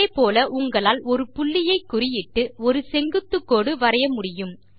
அதே போல உங்களால் ஒரு புள்ளி ஐ குறியிட்டு ஒரு செங்குத்து கோடு வரைய முடியும்